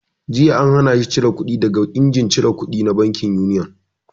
Jiya an hana shi cire kuɗi daga injimin cire kudi na bankin Union!